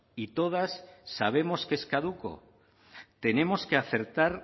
y todas sabemos que es caduco tenemos que acertar